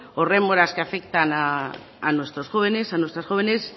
o rémoras que afectan a nuestros jóvenes y a nuestras jóvenes